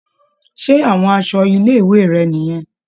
Ṣé àwọn aṣọ ilé-ìwé rẹ̀ nìyẹn.